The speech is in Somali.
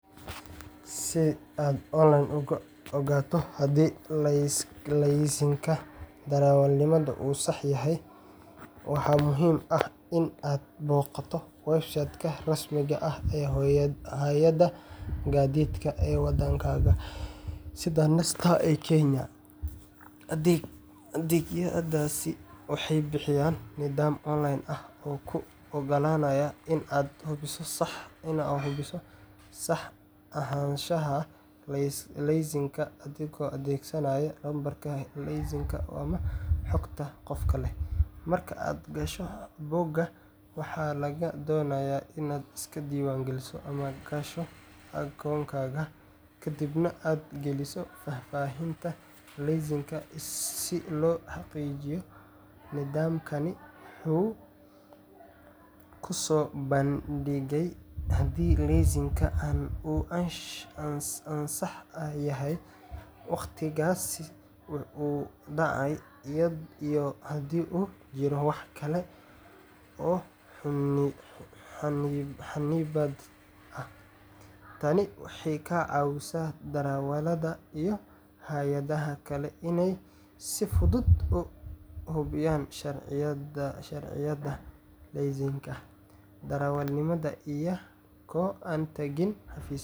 Si aad online uga ogaato haddii laysanka darawalnimada uu sax yahay, waxaa muhiim ah in aad booqato website-ka rasmiga ah ee hay’adda gaadiidka ee waddankaaga, sida NTSA ee Kenya. Adeegyadaasi waxay bixiyaan nidaam online ah oo kuu oggolaanaya in aad hubiso sax ahaanshaha laysanka adigoo adeegsanaya lambarka laysanka ama xogta qofka leh. Marka aad gasho bogga, waxaa lagaa doonayaa inaad iska diiwaangeliso ama gasho akoonkaaga, kadibna aad geliso faahfaahinta laysanka si loo xaqiijiyo. Nidaamkani wuxuu kuu soo bandhigayaa haddii laysanka uu ansax yahay, waqtigiisa uu dhacayo, iyo haddii uu jiro wax kale oo xannibaad ah. Tani waxay ka caawisaa darawallada iyo hay’adaha kale inay si fudud u hubiyaan sharciyadda laysanka darawalnimada iyagoo aan tagin xafiisyo.